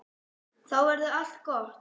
Þá verður allt gott.